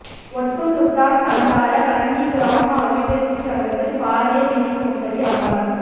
ஒட்டுசுட்டான் பண்டார வன்னி கிராம அபிவிருத்திச் சங்கத்தில் பாரிய நிதி மோசடி அம்பலம்